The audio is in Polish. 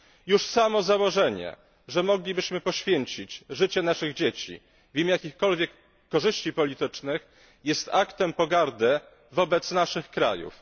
Już samo założenie, że moglibyśmy poświęcić życie naszych dzieci w imię jakichkolwiek korzyści politycznych, jest aktem pogardy wobec naszych krajów.